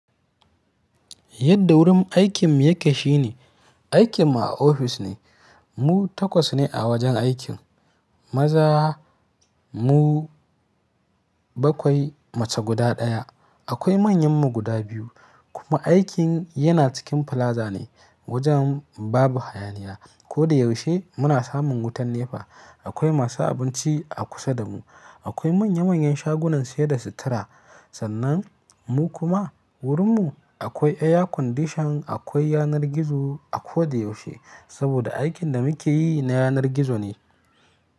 Yadda wurin aikin mu yake shine, aikin mu a ofis ne. Mu takwas ne a wajen aikin, maza mu bakwai, mace guda ɗaya. Akwai manyan mu guda biyu. Kuma aikin yana cikin plaza ne. Wajen babu hayaniya. Ko da yaushe muna samun wutar nepa. Akwai masu abinci a kusa da mu. Akwai manya manyan shagunan sayar da sutura. Sannan mu kuma wurin mu akwai air condition, akwai yanar gizo a ko da yaushe. Saboda aikin da muke yi na yanar gizo ne.